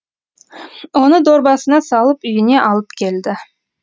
оны дорбасына салып үйіне алып келді